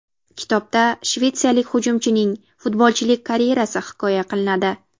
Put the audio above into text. Kitobda shvetsiyalik hujumchining futbolchilik karyerasi hikoya qilinadi.